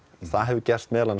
það hefur meðal annars